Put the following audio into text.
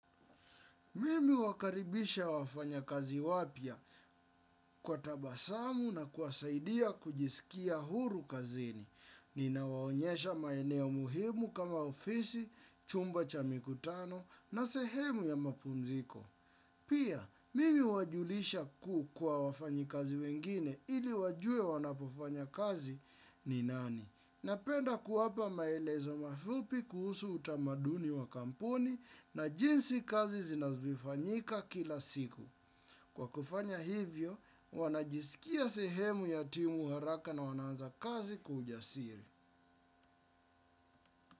Mimi huwakaribisha wafanyakazi wapya kwa tabasamu na kuwasaidia kujisikia huru kazini. Ninawaonyesha maeneo muhimu kama ofisi, chumba cha mikutano na sehemu ya mapunziko. Pia, mimi huwajulisha kwa wafanyikazi wengine ili wajue wanapofanya kazi ni nani. Napenda kuwapa maelezo mafupi kuhusu utamaduni wa kampuni na jinsi kazi zinavyofanyika kila siku. Kwa kufanya hivyo, wanajisikia sehemu ya timu haraka na wanaanza kazi kwa ujasiri.